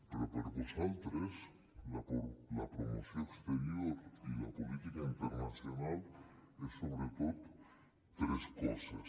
però per a vosaltres la promoció exterior i la política internacional és sobretot tres coses